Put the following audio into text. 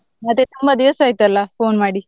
ಮತ್ತೆ ತುಂಬಾ ದಿವಸ ಆಯ್ತಲ್ಲ phone ಮಾಡಿ.